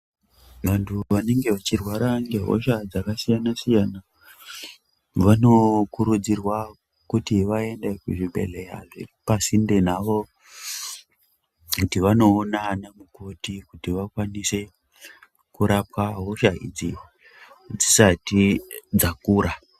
Vantu vanenga vachirwara ngehosha dzakasiyana siyana vanookurudzirwa kuti vaende kuzvibhedhleyazviri pasinde navo kuti vanoona ana mukoti kuti vakwanise kurapwa hosha dzisati dzakura.